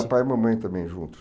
Pai e mamãe também juntos.